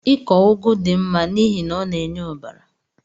Ịkọ ugu dị mma n'ihi na ọ na-enye ọbara